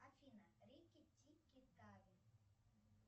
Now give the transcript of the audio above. афина рики тики тави